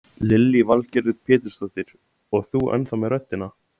Lillý Valgerður Pétursdóttir: Og þú ennþá með röddina?